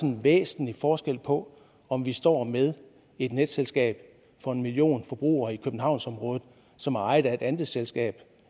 en væsentlig forskel på om vi står med et netselskab for en million forbrugere i københavnsområdet som er ejet af et andelsselskab